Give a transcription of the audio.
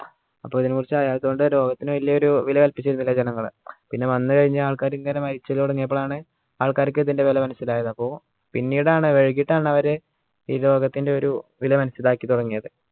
അപ്പോ ഇതിനെക്കുറിച്ച് അറിയാത്തോണ്ട് രോഗത്തിന് വലിയൊരു വില കൽപ്പിച്ചില്ല പിന്നെ വന്നു കഴിഞ്ഞ ആൾക്കാർ ഇങ്ങനെ മരിച്ചല് തുടങ്ങിയപ്പോളാണ് ആൾക്കാർക്ക് ഇതിൻറെ വില മനസ്സിലായത് അപ്പോ പിന്നീടാണ് വൈകിട്ടാണ് അവര് ഈ രോഗത്തിൻറെ ഒരു വില മനസ്സിലാക്കി തുടങ്ങിയത്